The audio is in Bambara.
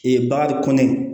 Ee bari kɔni